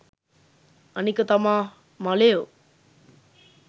අනික තමා මලයෝ